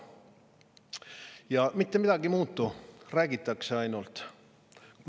Ja mitte midagi ei muutu, räägitakse ainult!